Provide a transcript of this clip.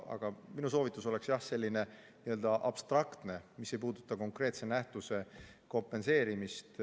Aga minu soovitus on abstraktne ega puuduta konkreetse nähtuse kompenseerimist.